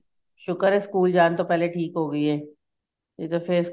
ਸੁਕਰ ਏ school ਜਾਣ ਤੋਂ ਪਹਿਲੇ ਠੀਕ ਹੋ ਗਈ ਏ ਨੀਂ ਤਾਂ ਫੇਰ